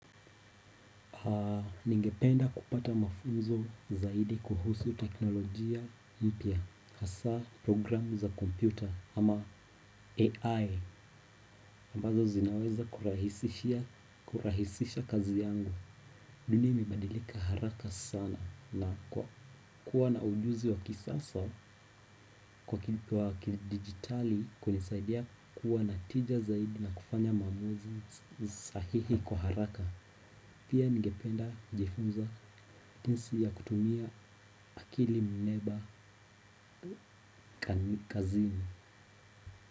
Ningependa kupata mafunzo zaidi kuhusu teknolojia mpya. Hasa programu za kompyuta ama AI ambazo zinaweza kurahisisha kazi yangu dunia imebadilika haraka sana na kuwa na ujuzi wa kisasa wa kidigitali kunisaidia kuwa na tija zaidi na kufanya maamuzi sahihi kwa haraka. Pia ningependa kujifunza jinsi ya kutumia akili mneba kazini.